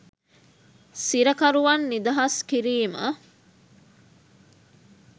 සිරකරුවන් නිදහස් කිරීම